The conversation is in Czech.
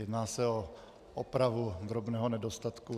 Jedná se o opravu drobného nedostatku.